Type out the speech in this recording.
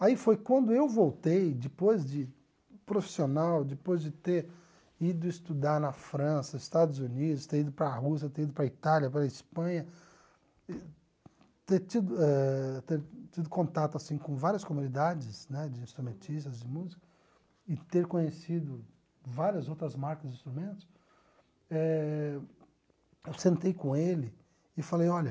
Aí foi quando eu voltei, depois de profissional, depois de ter ido estudar na França, Estados Unidos, ter ido para a Rússia, ter ido para a Itália, para a Espanha, ter tido eh ter tido contato assim com várias comunidades né de instrumentistas de música e ter conhecido várias outras marcas de instrumentos eh, eu sentei com ele e falei, olha,